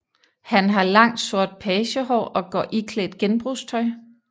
Han har langt sort pagehår og går iklædt genbrugstøj